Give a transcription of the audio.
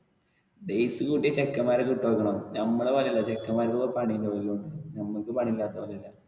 days കൂട്ടിയാൽ ചെക്കെന്മാരെ കിട്ടുവോ നോക്കണം. നമ്മളെ പോലെയല്ല ചെക്കെന്മാർക്ക് പണി ഒക്കെ ഉണ്ടാവും നമുക്ക് പണി ഇല്ലാത്തപോലെയല്ല.